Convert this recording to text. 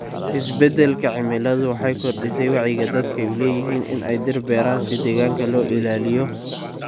Isbeddelka cimiladu waxay kordhisay wacyiga dadku u leeyihiin in ay dhir beeraan si deegaanka loo ilaaliyo.